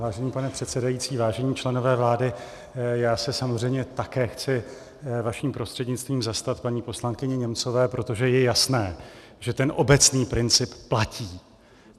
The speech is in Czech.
Vážený pane předsedající, vážení členové vlády, já se samozřejmě také chci vaším prostřednictvím zastat paní poslankyně Němcové, protože je jasné, že ten obecný princip platí.